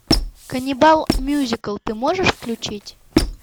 каннибал мюзикл ты можешь включить